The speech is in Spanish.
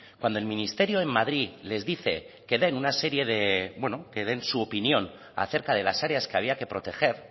cuando el ministerio en madrid les dice que den una serie que den su opinión acerca de las áreas que había que proteger